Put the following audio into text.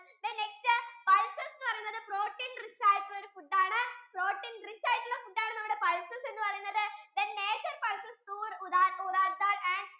then next pulses എന്ന് പറയുന്നത് protein rich ആയിട്ടുള്ളൊരു food ആണ്, protein rich ആയിട്ടുള്ള ഒരു food ആണ് നമ്മുടെ pulses ennu parayunathu then major pulses door ural daal and